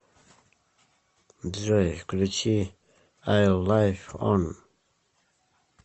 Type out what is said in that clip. джой включи айл лив он